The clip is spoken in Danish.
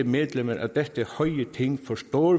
medlemmer af dette høje ting forstår